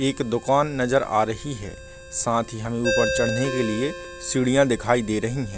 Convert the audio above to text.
एक दुकान नजर आ रही है साथ ही हमें ऊपर चढ़ने के लिए सीढ़ियां दिखाई दे रही है।